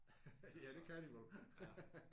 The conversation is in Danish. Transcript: Ja det kan de vel